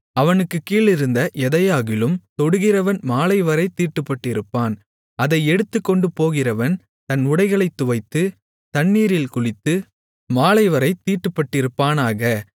அவனுக்குக் கீழிருந்த எதையாகிலும் தொடுகிறவன் மாலைவரைத் தீட்டுப்பட்டிருப்பான் அதை எடுத்துக்கொண்டு போகிறவன் தன் உடைகளைத் துவைத்து தண்ணீரில் குளித்து மாலைவரைத் தீட்டுப்பட்டிருப்பானாக